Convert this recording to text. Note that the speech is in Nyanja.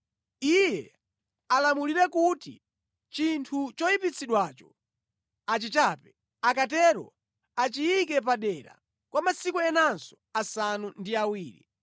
iye alamulire kuti chinthu choyipitsidwacho achichape. Akatero achiyike padera kwa masiku enanso asanu ndi awiri.